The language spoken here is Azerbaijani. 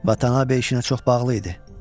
Vatanave işinə çox bağlı idi.